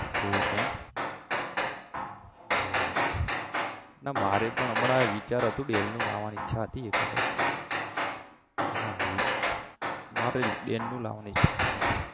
એવું છે એમ બરોબર ના મારે પણ હમણાં વિચાર હતો dell ની લાવાની ઈચ્છા હતી એક વખત હા મારે dell નું લાવાની ઈચ્છા છે